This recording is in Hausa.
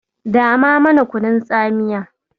Dama mana kunun tsamiya.